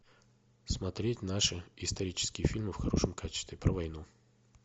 смотреть наши исторические фильмы в хорошем качестве про войну